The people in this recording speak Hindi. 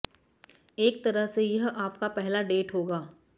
एक तरह से यह आपका पहला डेट होगा